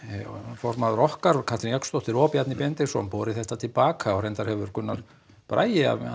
formaður okkar Katrín Jakobsdóttir og Bjarni Ben borið þetta til baka og reyndar hefur Gunnar Bragi að